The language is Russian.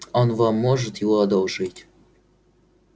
он вам может его одолжить